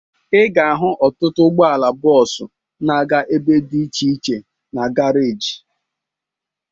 Ị ga-ahụ ọtụtụ ụgbọala bọọsu na-aga ebe dị iche iche na garaji